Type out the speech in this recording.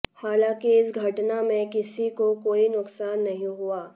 हालांकि इस घटना में किसी को कोई नुकसान नहीं हुआ